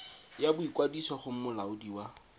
ya boikwadiso go molaodi wa